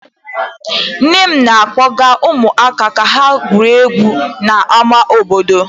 Nne m na-akpọga ụmụaka ka ha gwurie egwu n'ámá obodo.